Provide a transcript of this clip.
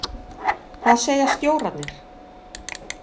Hvað segja stjórarnir?